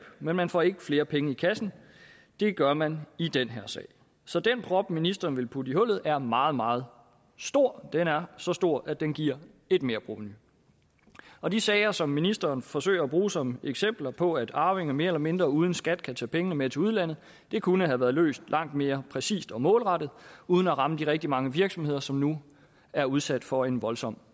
men man får ikke flere penge i kassen det gør man i den her sag så den prop ministeren vil putte i hullet er meget meget stor den er så stor at den giver et merprovenu og de sager som ministeren forsøger at bruge som eksempler på at arvinger mere eller mindre uden skat kan tage pengene med til udlandet kunne have været løst langt mere præcist og målrettet uden at ramme de rigtig mange virksomheder som nu er udsat for en voldsom